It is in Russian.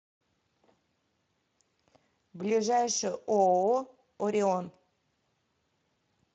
ближайший ооо орион